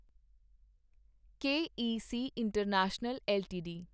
K E C international LTD